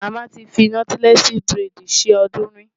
Màmá ti fi nọ́tílẹ́ẹ̀sì búrẹ́dì ṣe ọdún rí.